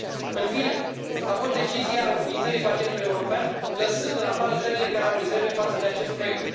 În fine, a fost decizia înființării Parchetului european lăsând în afară țările care au rezerve față de acest proiect.